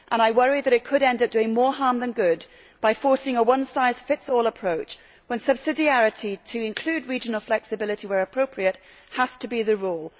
I worry that it could end up doing more harm than good by forcing a one size fits all approach when subsidiarity, to include regional flexibility where appropriate, has to be the rule.